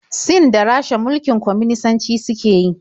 Sin da Rasha mulkin kwaminisanci suke yi.